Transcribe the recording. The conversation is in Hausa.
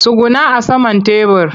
Tsugunna a saman tebur!